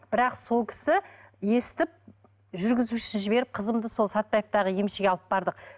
бірақ сол кісі естіп жүргізушісін жіберіп қызымды сол сатпаевтағы емшіге алып бардық